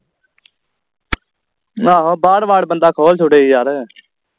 ਆਹੋ ਬਾਹਰ ਵਾਰ ਬੰਦਾ ਖੋਲ ਛਡੇ ਯਾਰ